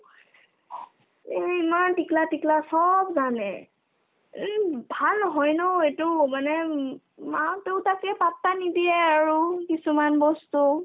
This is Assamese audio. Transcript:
এই ইমান টিকলা-টিকলা চব মানে উম ভাল নহয় ন এটো মানে উম মাক-দেউতাকে পাত্তা নিদিয়ে আৰু কিছুমান বস্তু